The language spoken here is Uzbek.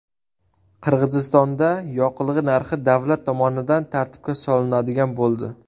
Qirg‘izistonda yoqilg‘i narxi davlat tomonidan tartibga solinadigan bo‘ldi.